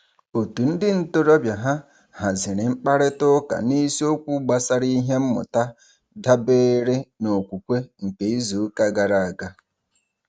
Òtù ndị ntorobịa ha haziri mkparịtaụka n'isiokwu gbasara ihe mmụta dabeere n'okwukwe nke izuụka gara aga.